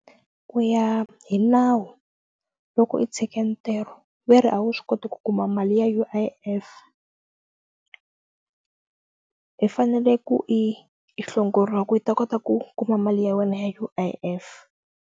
Ku ya hi nawu loko i tshike ntirho ve ri a wu swi koti ku kuma mali ya U_I_F i fanele ku i hlongoriwa ka i ta kota ku kuma mali ya wena ya U_I_F.